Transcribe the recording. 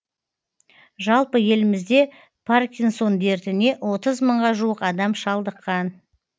жалпы елімізде паркинсон дертіне отыз мыңға жуық адам шалдыққан